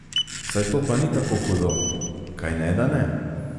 Saj to pa ni tako hudo, kajneda ne?